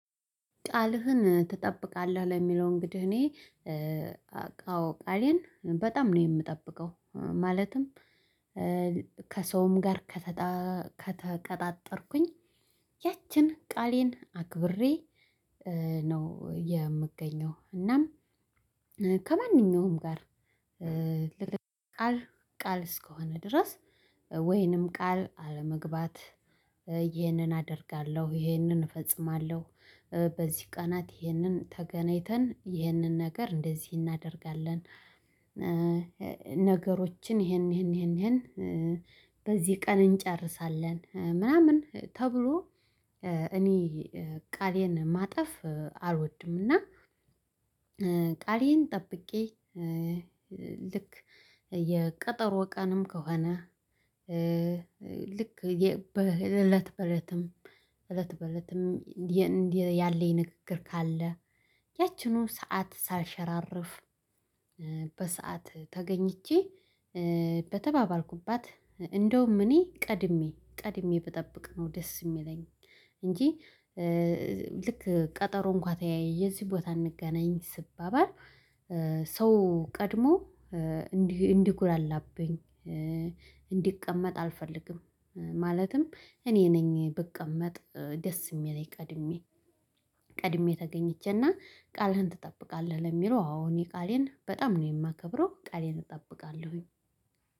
ቃልህን ትጠብቃለህ ለሚለው እንግዲህ እኔ አዎ ቃሌን በጣም ነው የምጠብቀው ማለትም ከሰውም ጋር ከተቀጣጠርኩኝ ያችን ቃሌን አክብሬ ነው የምገኘው እናም ከማንኛውም ጋር ቃል ቃል እስከሆነ ድረስ ወይንም ቃል አለመግባት ይህንን አደርጋለሁ ይህንን እፈጽማለሁ በዚህ ቀናት ይህንን ተገናኝተን ይህንን ነገር እንደዚህ እናደርጋለን ነገሮችን ይሄን ይሄን ይሄን ይሄን በዚህ ቀን እንጨርሳለን ምናምን ተብሎ እኔ ቃሌን ማጠፍ አልወድምና ቃሌን ጠብቄ ልክ የቀጠሮ ቀንም ከሆነ ልክ እለት በእለትም እለት በእለትም ያለኝ ንግግር ካለ ያችንው ሰዓት ሳልሸራርፍ በሰአት ተገኝቼ በተባባልኩባት እንደውም እኔ ቀድሜ ቀድሜ ብጠብቅ ነው ደስ የሚለኝ እንጂ ልክ ቀጠሮ እንኳን ተያይዠ የዚህ ቦታ እንገናኝ ስባባል ቀድሞ እንዲህ እንዲጉላላብኝ እንዲቀመጥ አልፈልግም፤ ማለትም እኔ ነኝ ብቀመጥ ደስ የሚለኝ ቀድሜ ቀድሜ ተገኝቸና ቃልህን ትጠብቃለህ ለሚለው አሁን የቃሌን በጣም ነው የማከብረው ቃሌን እጠብቃለሁኝ።